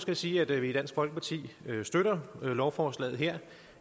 jeg sige at vi i dansk folkeparti støtter lovforslaget her